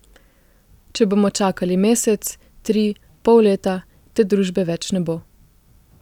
Če bomo čakali mesec, tri, pol leta, te družbe več ne bo.